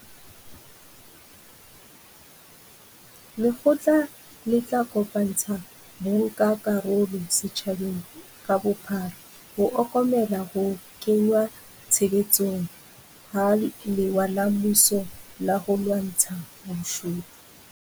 Lekgotla le tla kopantsha bankakarolo setjhabeng ka bophara ho okomela ho kengwa tshebetsong ha lewa la mmuso la ho lwantsha bobodu.